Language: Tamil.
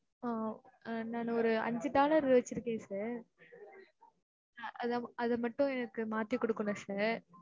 ஆஹ் நானு ஒரு அஞ்சு dollar வச்சு இருக்கேன் sir அத அத மட்டும் எனக்கு மாத்தி குடுக்கணும் sir